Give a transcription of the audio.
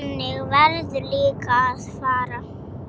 Þannig verður líka að fara.